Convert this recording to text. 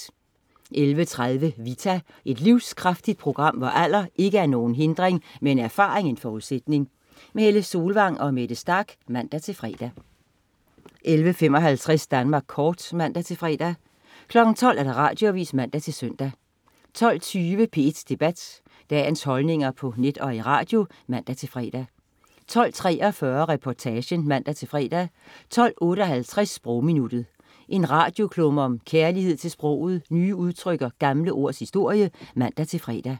11.30 Vita. Et livskraftigt program, hvor alder ikke er nogen hindring, men erfaring en forudsætning. Helle Solvang og Mette Starch (man-fre) 11.55 Danmark Kort (man-fre) 12.00 Radioavis (man-søn) 12.20 P1 Debat. Dagens holdninger på net og i radio (man-fre) 12.43 Reportagen (man-fre) 12.58 Sprogminuttet. En radioklumme om kærlighed til sproget, nye udtryk og gamle ords historie (man-fre)